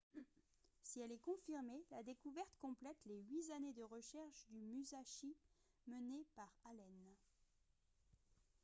si elle est confirmée la découverte complète les huit années de recherche du musashi menées par allen